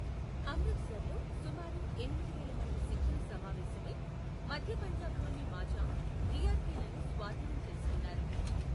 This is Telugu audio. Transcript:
అమృత్సర్లో సుమారు ఎనిమిది వేల మంది సిక్కులు సమావేశమై మధ్య పంజాబ్లోని మాఝా, రియార్కీలను స్వాధీనం చేసుకున్నారు.